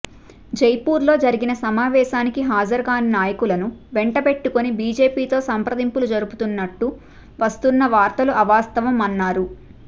జైపూర్లో జరిగిన సమావేశానికి హాజరుకానీ నాయకులను వెంటబెట్టుకొని బీజేపీతో సంప్రదింపులు జరుపుతున్నట్టు వస్తున్న వార్తలు అవాస్తవం అన్నారు